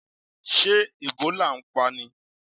Ṣé Ẹ̀bólà ń pani?